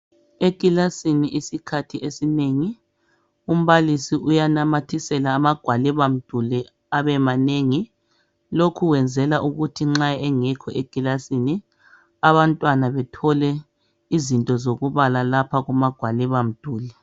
Ekilasini isikhathi esinengi umbalisi uyanamathisela amagwalibamduli abemanengi. Lokhu wenzela ukuthi nxa engekho ekilasini, abantwana bethole izinto zokubala lapha kumagwalibamduli.